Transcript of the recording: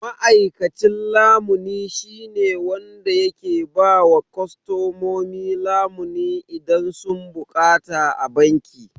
Ma'aikacin lamuni shine wanda yake ba wa kostomomi lamuni idan sun bukata a banki.